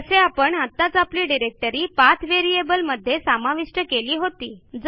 जसे आपण आत्ताच आपली डिरेक्टरी पाठ व्हेरिएबल मध्ये समाविष्ट केली होती